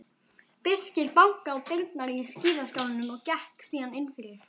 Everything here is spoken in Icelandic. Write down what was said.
Birkir bankaði á dyrnar á skíðaskálanum og gekk síðan innfyrir.